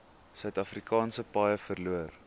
suidafrikaanse paaie verloor